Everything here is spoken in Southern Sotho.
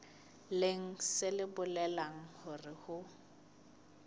leng se bolelang hore ho